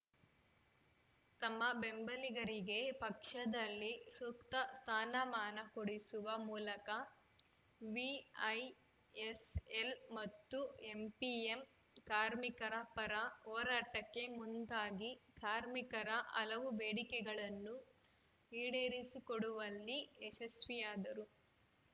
ತಮ್ಮ ಬೆಂಬಲಿಗರಿಗೆ ಪಕ್ಷದಲ್ಲಿ ಸೂಕ್ತ ಸ್ಥಾನಮಾನ ಕೊಡಿಸುವ ಮೂಲಕ ವಿಐಎಸ್‌ಎಲ್‌ ಮತ್ತು ಎಂಪಿಎಂ ಕಾರ್ಮಿಕರ ಪರ ಹೋರಾಟಕ್ಕೆ ಮುಂದಾಗಿ ಕಾರ್ಮಿಕರ ಹಲವು ಬೇಡಿಕೆಗಳನ್ನು ಈಡೇರಿಸಿಕೊಡುವಲ್ಲಿ ಯಶಸ್ವಿಯಾದರು